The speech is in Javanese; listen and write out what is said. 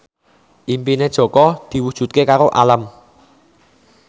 impine Jaka diwujudke karo Alam